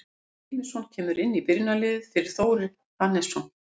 Halldór Hilmisson kemur inn í byrjunarliðið fyrir Þórir Hannesson.